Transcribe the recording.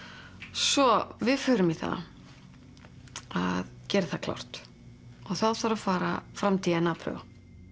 svo við förum í það að gera það klárt og þá þarf að fara fram d n a